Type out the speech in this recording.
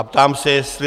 A ptám se, jestli...